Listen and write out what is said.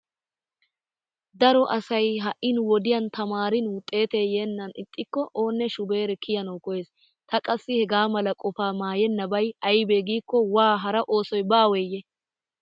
Daro asay ha"i nu wodiyan tamaarin wuxeetee yeennan ixxikko oonne shubeere kiyanawu koyyees. Ta qassi hegaa mala qofaa maayennabay aybee giikko waa hara oosoy baweeyye?